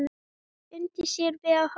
Undi sér við að horfa.